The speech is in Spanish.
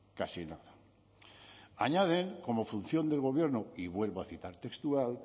casi nada añaden como función del gobierno y vuelvo a citar textual